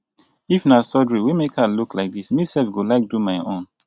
if na surgery wey make her look like dis me sef go like do my own.